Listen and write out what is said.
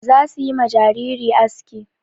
Za su yi ma jariri aski.